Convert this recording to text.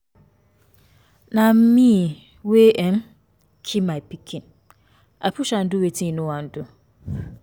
Na me wey um kill my um pikin. I push am do wetin he no wan do